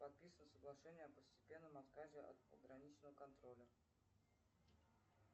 подписывает соглашение о постепенном отказе от пограничного контроля